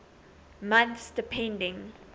months depending